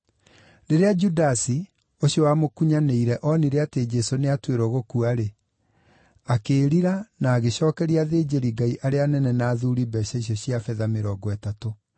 Rĩrĩa Judasi, ũcio wamũkunyanĩire oonire atĩ Jesũ nĩatuĩrwo gũkua-rĩ, akĩĩrira na agĩcookeria athĩnjĩri-Ngai arĩa anene na athuuri mbeeca icio cia betha mĩrongo ĩtatũ.